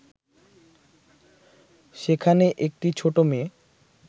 সেখানে একটি ছোট মেয়ে